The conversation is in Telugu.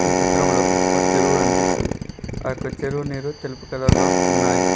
ఈ చిత్రంలో ఒక చెరువు గన్పిస్తుంది ఆ యొక్క చెరువు నీరు తెలుపు కలర్లో ఉన్నాయ్.